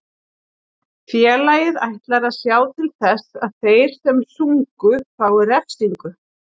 Félagið ætlar að sjá til þess að þeir sem sungu fái refsingu.